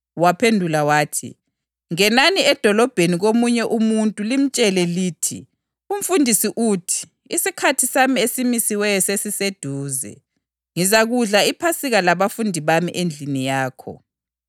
Waphendula wathi, “Ngenani edolobheni komunye umuntu limtshele lithi, ‘UMfundisi uthi: Isikhathi sami esimisiweyo sesiseduze. Ngizakudla iPhasika labafundi bami endlini yakho.’ ”